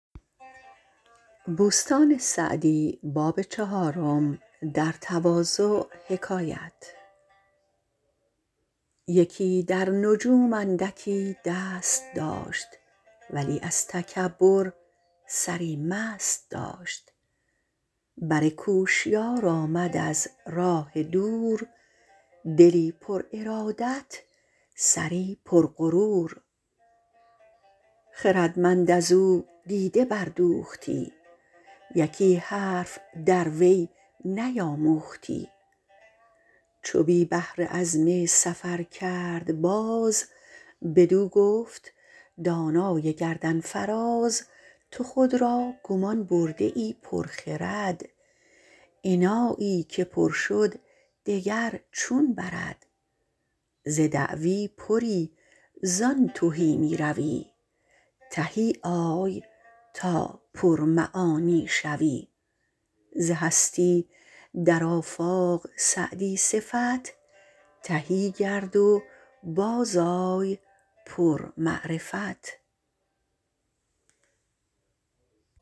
یکی در نجوم اندکی دست داشت ولی از تکبر سری مست داشت بر کوشیار آمد از راه دور دلی پر ارادت سری پر غرور خردمند از او دیده بردوختی یکی حرف در وی نیاموختی چو بی بهره عزم سفر کرد باز بدو گفت دانای گردن فراز تو خود را گمان برده ای پر خرد انایی که پر شد دگر چون برد ز دعوی پری زان تهی می روی تهی آی تا پر معانی شوی ز هستی در آفاق سعدی صفت تهی گرد و باز آی پر معرفت